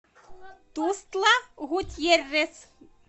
тустла гутьеррес